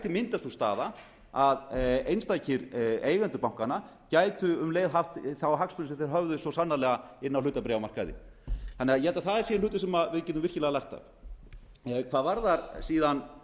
myndast sú staða að einstakir eigendur bankanna gætu um leið haft þá hagsmuni sem þeir höfðu svo sannarlega inni á hlutabréfamarkaði ég held að það séu hlutir sem við getum virkilega lært af hvað varðar síðan